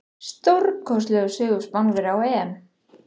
Stórkostlegur sigur Spánverja á EM.